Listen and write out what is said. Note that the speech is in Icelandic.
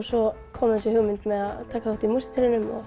svo kom þessi hugmynd að taka þátt í músíktilraunum